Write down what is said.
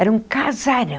Era um casarão.